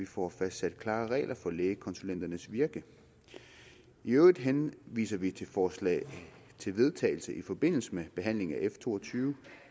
få fastsat klare regler for lægekonsulenternes virke i øvrigt henviser vi til forslag til vedtagelse i forbindelse med behandlingen af f to og tyve